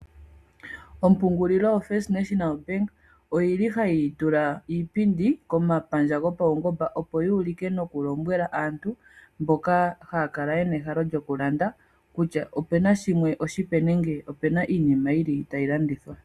Ompungulilo yombaanga yotango yopashigwana oyili hati tula iipindi komapandja gopaungamba, opo yi ulike nokulombwela aantu mboka haya kala yena ehalo lyokulanda. Kutya opena shimwe oshipe nenge opuna iinima yili tayi landithwa.